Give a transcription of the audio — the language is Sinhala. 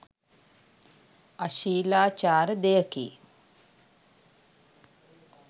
අශීලාචාර දෙයකි